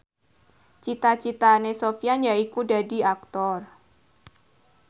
cita citane Sofyan yaiku dadi Aktor